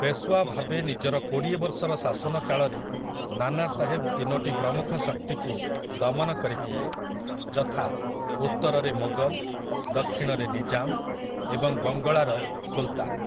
ପେଶୱା ଭାବେ ନିଜର କୋଡ଼ିଏ ବର୍ଷର ଶାସନକାଳରେ ନାନାସାହେବ ତିନୋଟି ପ୍ରମୁଖ ଶକ୍ତିକୁ ଦମନ କରିଥିଲେ, ଯଥା, ଉତ୍ତରରେ ମୋଗଲ୍‌, ଦକ୍ଷିଣରେ ନିଜାମ୍ ଏବଂ ବଙ୍ଗଳାର ସୁଲତାନ୍ ।